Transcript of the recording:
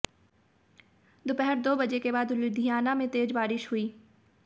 दोपहर दो बजे के बाद लुधियाना में तेज बारिश हुई